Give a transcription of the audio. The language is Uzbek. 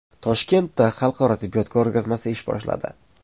Toshkentda xalqaro tibbiyot ko‘rgazmasi ish boshladi.